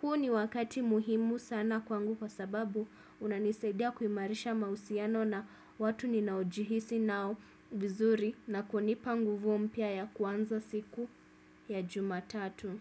Huo ni wakati muhimu sana kwangu kwa sababu unanisaidia kuimarisha mahusiano na watu ninaojihisi nao vizuri na kunipa nguvu mpya ya kuanza siku ya jumatatu.